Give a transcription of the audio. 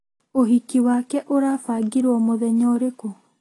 Ũhiki wake ũrabangirwo mũthenya ũrĩkũ?